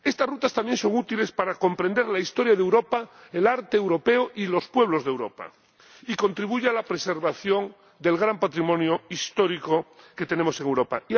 Estas rutas también son útiles para comprender la historia de Europa, el arte europeo y los pueblos de Europa, y contribuyen a la preservación del gran patrimonio histórico que tenemos en Europa.